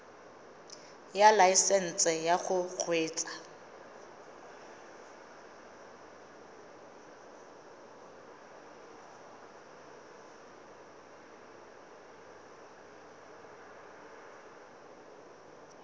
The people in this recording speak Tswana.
ya laesesnse ya go kgweetsa